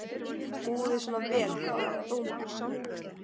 Búum við svona vel hvað varðar dómara?